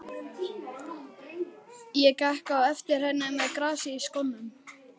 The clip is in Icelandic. Ég gekk á eftir henni með grasið í skónum!